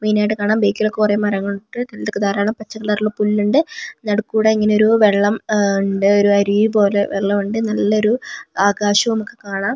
മെയിനായിട്ട് കാണാം ബേക്കില് കുറെ മരങ്ങൾ ഇണ്ട് ധാരാളം പച്ച കളറുള്ള പുല്ലുണ്ട് നടുക്കൂടെ ഇങ്ങനെ ഒരു വെള്ളം അം ഇണ്ട് ഒരു അരുവി പോലെ വെള്ളം ഇണ്ട് നല്ലൊരു ആകാശമൊക്കെ കാണാം.